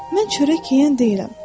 Mən çörək yeyən deyiləm.